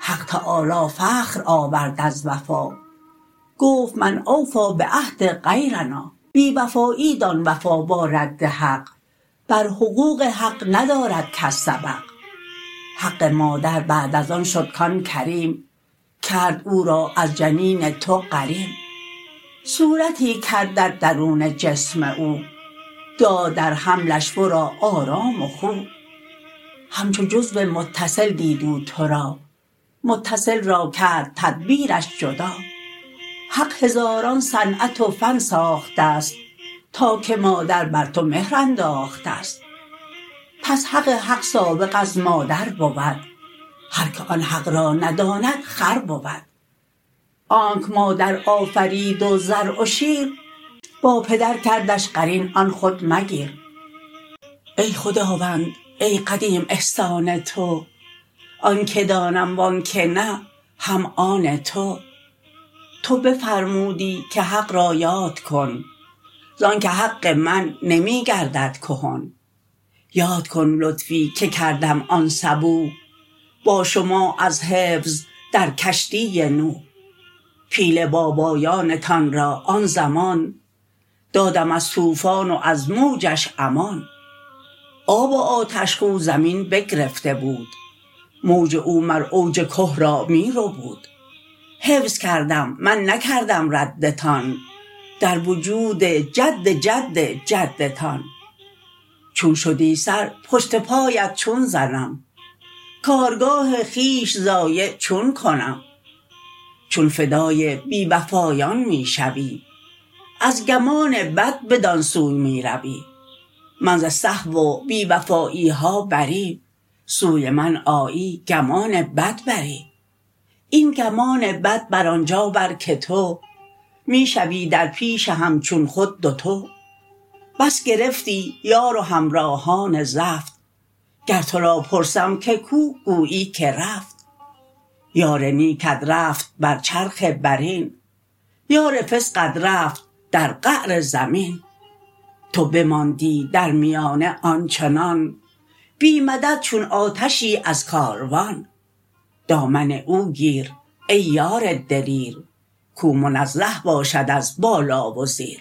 حق تعالی فخر آورد از وفا گفت من اوفی بعهد غیرنا بی وفایی دان وفا با رد حق بر حقوق حق ندارد کس سبق حق مادر بعد از آن شد کان کریم کرد او را از جنین تو غریم صورتی کردت درون جسم او داد در حملش ورا آرام و خو همچو جزو متصل دید او تو را متصل را کرد تدبیرش جدا حق هزاران صنعت و فن ساخته ست تا که مادر بر تو مهر انداخته ست پس حق حق سابق از مادر بود هر که آن حق را نداند خر بود آنک مادر آفرید و ضرع و شیر با پدر کردش قرین آن خود مگیر ای خداوند ای قدیم احسان تو آنکه دانم وانکه نه هم آن تو تو بفرمودی که حق را یاد کن زانک حق من نمی گردد کهن یاد کن لطفی که کردم آن صبوح با شما از حفظ در کشتی نوح پیله بابایانتان را آن زمان دادم از طوفان و از موجش امان آب آتش خو زمین بگرفته بود موج او مر اوج که را می ربود حفظ کردم من نکردم ردتان در وجود جد جد جدتان چون شدی سر پشت پایت چون زنم کارگاه خویش ضایع چون کنم چون فدای بی وفایان می شوی از گمان بد بدان سو می روی من ز سهو و بی وفایی ها بری سوی من آیی گمان بد بری این گمان بد بر آنجا بر که تو می شوی در پیش همچون خود دوتو بس گرفتی یار و همراهان زفت گر تو را پرسم که کو گویی که رفت یار نیکت رفت بر چرخ برین یار فسقت رفت در قعر زمین تو بماندی در میانه آنچنان بی مدد چون آتشی از کاروان دامن او گیر ای یار دلیر کو منزه باشد از بالا و زیر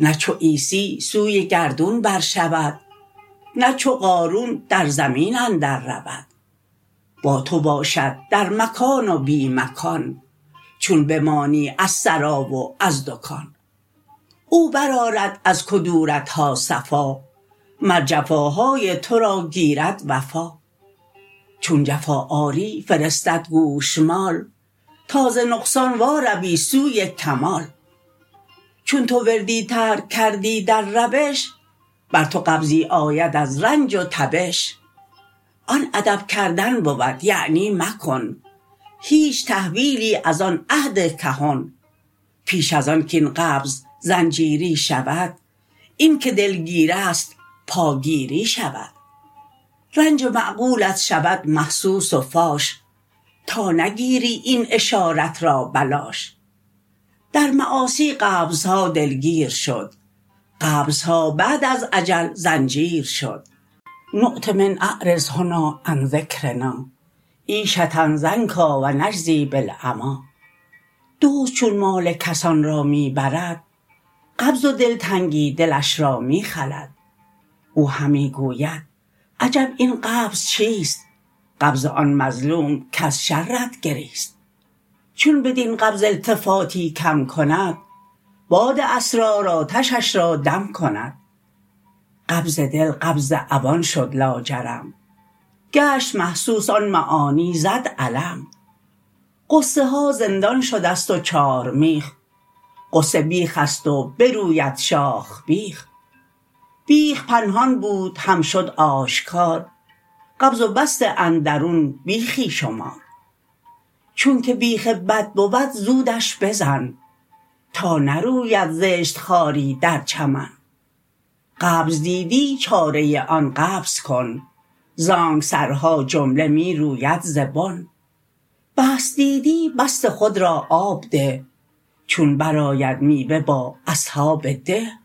نه چو عیسی سوی گردون بر شود نه چو قارون در زمین اندر رود با تو باشد در مکان و بی مکان چون بمانی از سرا و از دکان او بر آرد از کدورت ها صفا مر جفاهای تو را گیرد وفا چون جفا آری فرستد گوشمال تا ز نقصان وا روی سوی کمال چون تو وردی ترک کردی در روش بر تو قبضی آید از رنج و تبش آن ادب کردن بود یعنی مکن هیچ تحویلی از آن عهد کهن پیش از آن کین قبض زنجیری شود این که دلگیریست پاگیری شود رنج معقولت شود محسوس و فاش تا نگیری این اشارت را بلاش در معاصی قبض ها دلگیر شد قبض ها بعد از اجل زنجیر شد نعط من اعرض هنا عن ذکرنا عیشة ضنک و نجزی بالعمی دزد چون مال کسان را می برد قبض و دلتنگی دلش را می خلد او همی گوید عجب این قبض چیست قبض آن مظلوم کز شرت گریست چون بدین قبض التفاتی کم کند باد اصرار آتشش را دم کند قبض دل قبض عوان شد لاجرم گشت محسوس آن معانی زد علم غصه ها زندان شدست و چارمیخ غصه بیخ است و بروید شاخ بیخ بیخ پنهان بود هم شد آشکار قبض و بسط اندرون بیخی شمار چونکه بیخ بد بود زودش بزن تا نروید زشت خاری در چمن قبض دیدی چاره آن قبض کن زانک سرها جمله می روید ز بن بسط دیدی بسط خود را آب ده چون بر آید میوه با اصحاب ده